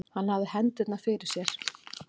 Hann hafði hendurnar fyrir sér.